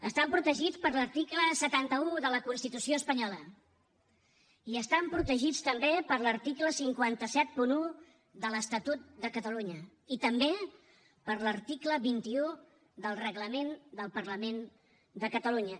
estan protegits per l’article setanta un de la constitució espanyola i estan protegits també per l’article cinc cents i setanta un de l’estatut de catalunya i també per l’article vint un del reglament del parlament de catalunya